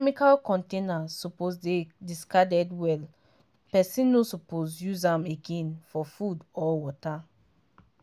chemical container suppose dey discarded well person no suppose use am again for food or water.